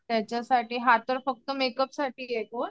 त्याच्यासाठी हा तर फक्त मेकअप साठी आहे कोर्स